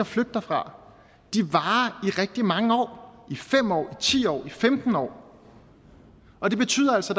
flygter fra varer i rigtig mange år i fem år i ti år i femten år og det betyder altså